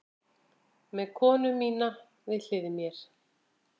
Með konu mína við hlið mér.